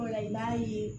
i b'a ye